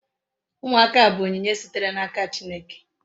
Umuaka bu onyinye sitere na aka chineke